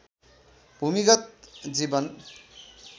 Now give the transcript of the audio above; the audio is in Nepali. भूमिगत जीवन